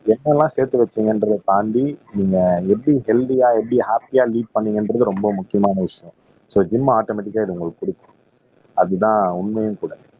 என்னெல்லாம் சேர்த்து வச்சீங்கன்றதைத் தாண்டி நீங்க எப்படி ஹெல்த்தியா எப்படி ஹாப்பியா லீட் பண்ணீங்கன்றது ரொம்ப முக்கியமான விஷயம் சோ ஜிம் ஆட்டோமேட்டிக்கா இது உங்களுக்குப் குடுக்கும் அதுதான் உண்மையும் கூட